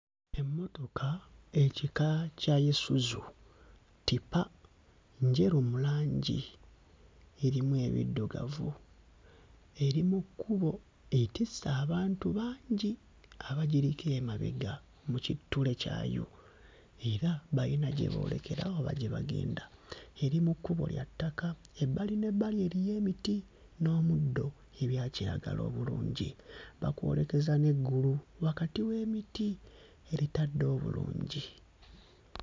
Emmotoka ekika kya Isuzu ttipa, njeru mu langi erimu ebiddugavu eri mu kkubo etisse abantu bangi abagiriko emabega mu kittule kyayo era bayina gye boolekera oba gye bagenda eri mu kkubo lya ttaka ebbali n'ebbali eriyo emiti n'omuddo ebya kiragala obulungi bakwolekeza n'eggulu wakati w'emiti eritadde obulungi.